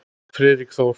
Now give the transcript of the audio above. Friðrik Þór.